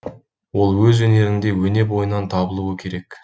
ол өз өнерінде өне бойынан табылуы керек